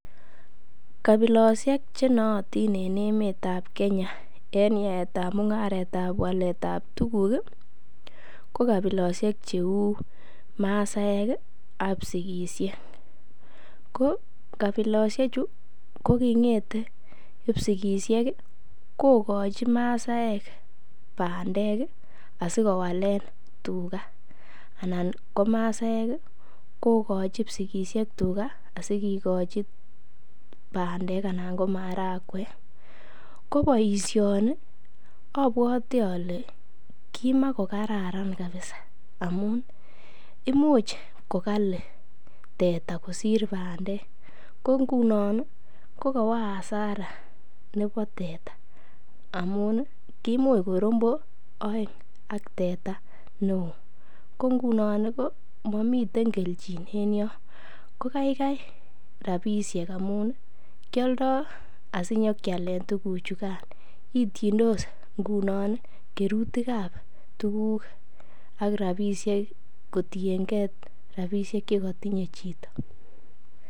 Kabilosiek ch enootin en emet ab Kenya en yaetab mung'aret ab waletab tuguk ko kabilosiek cheu masaek ak kipsigisiek ko kabilosiechu ko kingete kipsigisiek kogochi massaek bandek asikowalen tuga. Ko masaaek kogochi kipsigisiek tuga asikigochi bandek anan ko marakwek. Ko boisioni ko obwote ole kimakokararan kabisa amun imuch kokali teta kosir teta ko ngunon kokowo hasara nebo teta amun kimuch ko rombo oeng ak teta neo ko ngunon ko momiten kelchin en yon amun kioldo asikinyokealen tuguchukan, ityondos ngunon kerutik ab tuguk ak rabisiek kotienge rabisiek che kotinye chito.